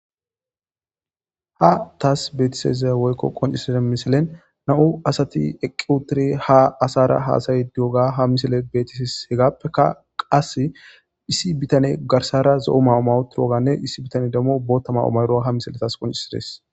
Ha taas beetiseze woykko qonciside misilen na'u asati eqqiutire haasara haasayi duoga hamisile betisis hegappeka qase issi bitane garsara zo'o mawumawotirwoganne issi bitane damo bootta mau mayro hamisiletas qoncisides.